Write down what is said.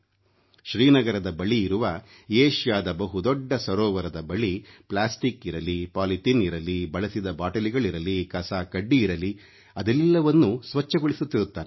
ಶ್ರೀನಗರದ ಬಳಿ ಇರುವ ಏಷ್ಯಾದ ಬಹುದೊಡ್ಡ ಸರೋವರದ ಬಳಿ ಪ್ಲಾಸ್ಟಿಕ್ ಇರಲಿ ಪಾಲಿಥೀನ್ ಇರಲಿ ಬಳಸಿದ ಬಾಟಲಿಗಳಿರಲಿ ಕಸ ಕಡ್ಡಿಯಿರಲಿ ಅದೆಲ್ಲವನ್ನೂ ಸ್ವಚ್ಛಗೊಳಿಸುತ್ತಿರುತ್ತಾನೆ